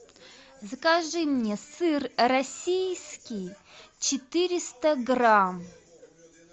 закажи мне сыр российский четыреста грамм